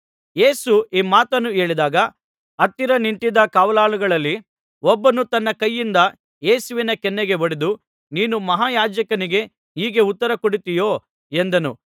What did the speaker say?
ಯೇಸು ಈ ಮಾತನ್ನು ಹೇಳಿದಾಗ ಹತ್ತಿರ ನಿಂತಿದ್ದ ಕಾವಲಾಳುಗಳಲ್ಲಿ ಒಬ್ಬನು ತನ್ನ ಕೈಯಿಂದ ಯೇಸುವಿನ ಕೆನ್ನೆಗೆ ಹೊಡೆದು ನೀನು ಮಹಾಯಾಜಕನಿಗೆ ಹೀಗೆ ಉತ್ತರ ಕೊಡುತ್ತೀಯೋ ಎಂದನು